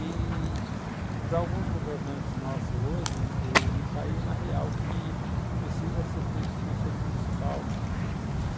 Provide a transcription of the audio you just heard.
i-i para alguns governantes nossos hoje, eh não caiu na real que precisa ser feito o conselho municipal.